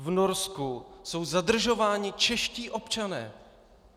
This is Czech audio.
V Norsku jsou zadržováni čeští občané!